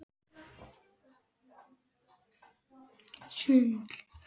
Hún skellir upp úr.